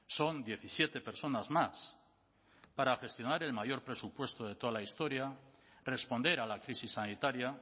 son diecisiete personas más para gestionar el mayor presupuesto de toda la historia responder a la crisis sanitaria